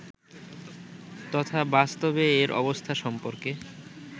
তথা বাস্তবে এর অবস্থা সম্পর্কে